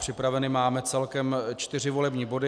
Připraveny máme celkem čtyři volební body.